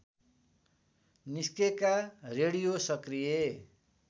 निस्केका रेडियो सक्रिय